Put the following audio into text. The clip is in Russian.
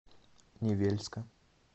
невельска